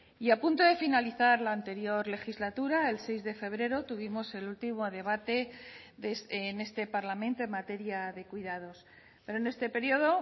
y a punto de finalizar la anterior legislatura el seis de febrero tuvimos el último debate en este parlamento en materia de cuidados pero en este periodo